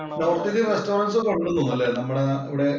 North Indian restaurants ഒക്കെ ഉണ്ടെന്നു തോന്നുന്നു നമ്മുടെ nനാ അവിടെ?